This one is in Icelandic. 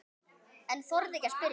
En þorði ekki að spyrja.